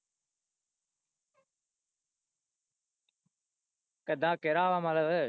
ਕਿੱਦਾਂ ਕਿਹੜਾ ਵ ਮਤਲਬ,